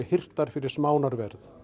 hirtar fyrir